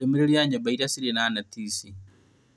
Ndũmĩrĩri ya nyũmba iria cirĩ na neti ici